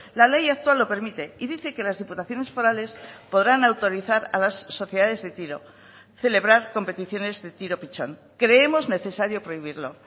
la ley actual lo permite y dice que las diputaciones forales podrán autorizar a las sociedades de tiro a celebrar competiciones de tiro pichón creemos necesario prohibirlo